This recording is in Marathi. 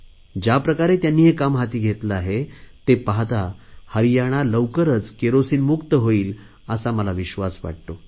ज्याप्रकारे त्यांनी हे काम हाती घेतले आहे ते पाहता हरियाणा लवकरच केरोसिन मुक्त होईल असा विश्वास मला वाटतो